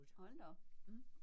Hold da op mhm